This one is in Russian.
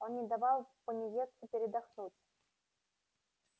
он не давал пониетсу передохнуть